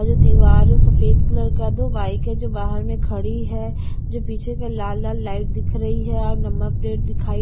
और जो दीवार है वो सफेद कलर का दो बाइक हैं जो बाहर में खड़ी हैं जो पीछे का लाल-लाल लाइट दिख रही है और नंबर प्लेट दिखाई--